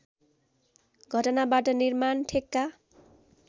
घटनाबाट निर्माण ठेक्का